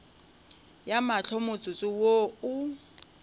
ya mahlo motsotso wo o